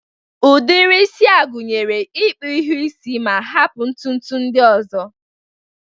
Udiri isi a gụnyere, ịkpụ iru isi ma hapụ ntụtụ ndị ọzọ.